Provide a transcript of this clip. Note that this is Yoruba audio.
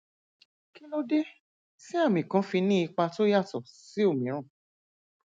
kí ló dé tí àmì kan fi ní ipa tó yàtọ sí òmíràn